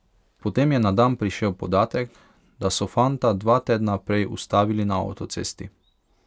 Potem je na dan prišel še podatek, da so fanta dva tedna prej ustavili na avtocesti.